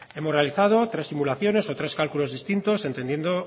hemos realizado tres simulaciones o tres cálculos distintos entendiendo